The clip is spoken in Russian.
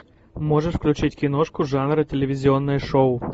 можешь включить киношку жанра телевизионное шоу